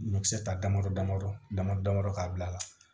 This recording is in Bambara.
Ɲɔkisɛ ta damadɔ damadɔ dama damadɔ k'a bila